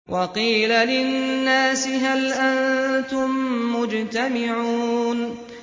وَقِيلَ لِلنَّاسِ هَلْ أَنتُم مُّجْتَمِعُونَ